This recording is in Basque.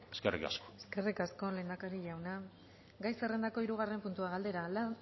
eskerrik asko eskerrik asko lehendakari jauna gai zerrendako hirugarren puntua galdera